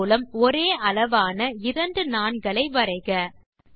அதன் மூலம் ஒரே அளவான இரண்டு நாண்களை வரைக